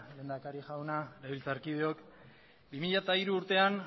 lehendakari jauna legebiltzarkideok bi mila hiru urtean